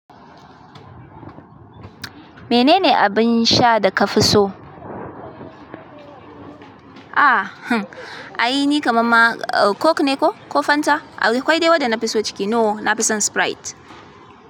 Menene abin sha da ka fi so? Ah, hn, ai ni kamamma coke ne ko, ko fanta. Akwai de waɗa na fi so ciki. No, nafi san sprite.